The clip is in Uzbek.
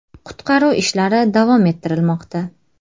Qutqaruv ishlari davom ettirilmoqda.